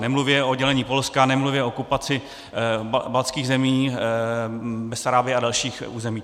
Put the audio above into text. Nemluvě o odělení Polska, nemluvě o okupaci baltských zemí, Besarábie a dalších území.